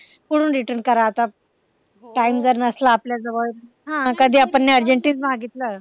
कुठून return कारणार आता time जर नसला आपल्या जवळ हा कधी आपण नि urgently मागितलं